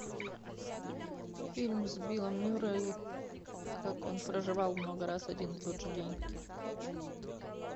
фильм с биллом мюррей как он проживал много раз один и тот же день